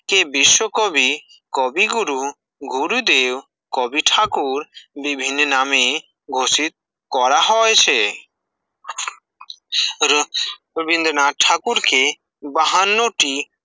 বিশ্বকবি, কবিগুরু, গুরুদেব, কবি ঠাকুর, বিভিন্ন নামে ঘোষিত করা হয়েছে, র-রবীন্দ্রনাথ ঠাকুর কে বাহান্ন টি